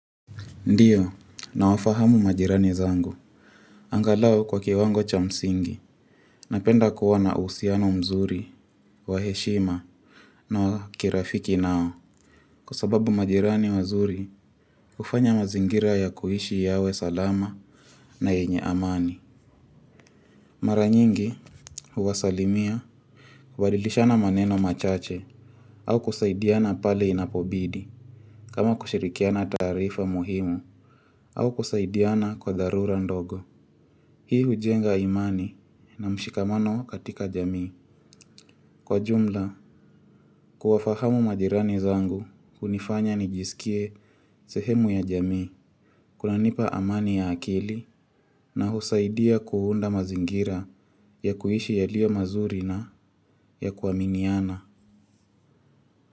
Ndio nawafahamu majirani zangu. Angalau kwa kiwango cha msingi napenda kuwa na uhusiano mzuri wa heshima na wa kirafiki na kwa sababu majirani wazuri hufanya mazingira ya kuishi yawe salama na yenye amani. Mara nyingi huwasalimia kubadilishana maneno machache au kusaidiana pale inapobidi kama kushirikiana taarifa muhimu au kusaidiana kwa dharura ndogo. Hii hujenga imani na mshikamano katika jamii. Kwa jumla, kuwafahamu majirani zangu hunifanya nijisikie sehemu ya jamii. Kunanipa amani ya akili na husaidia kuunda mazingira ya kuishi yalio mazuri na ya kuaminiana.